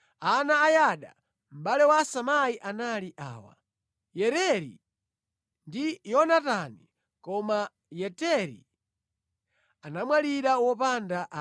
Ana a Yada, mʼbale wa Samai, anali awa: Yereri ndi Yonatani. Koma Yeteri anamwalira wopanda ana.